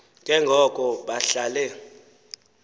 ke ngoko bahlale